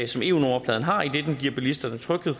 som eu nummerpladen har idet den giver bilisterne tryghed